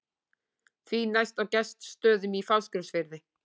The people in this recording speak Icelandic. Því næst á Gestsstöðum í Fáskrúðsfirði.